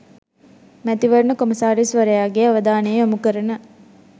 මැතිවරණ කොමසාරිස්වරයාගේ අවධානය යොමු කරන